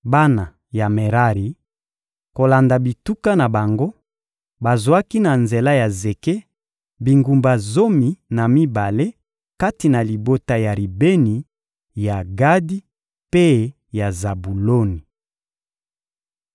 Bana ya Merari, kolanda bituka na bango, bazwaki na nzela ya zeke, bingumba zomi na mibale kati na libota ya Ribeni, ya Gadi mpe ya Zabuloni.